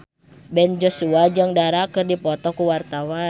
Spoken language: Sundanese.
Ben Joshua jeung Dara keur dipoto ku wartawan